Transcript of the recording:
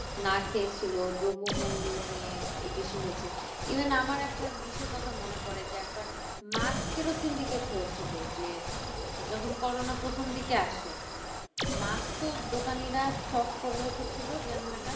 Mask ও দোকানিরা stock করে রেখেছিলো যেন এটা উম সেটাই এ সব কিছুই এটা একদম একটা